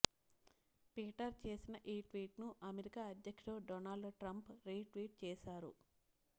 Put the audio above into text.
Peter చేసిన ఈ ట్వీట్ను అమెరికా అధ్యక్షుడు డొనాల్డ్ ట్రంప్ రీ ట్వీట్ చేశారు